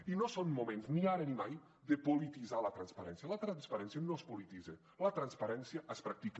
i no són moments ni ara ni mai de polititzar la transparència la transparència no es polititza la transparència es practica